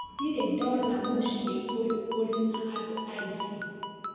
Ndire ndona mũciĩ ũyũ ũrĩ na andũ aingĩ.